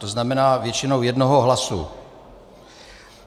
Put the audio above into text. To znamená většinou jednoho hlasu.